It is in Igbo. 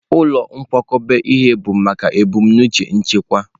Ụlọ nkwakọba ihe bụ maka ebumnuche nchekwa.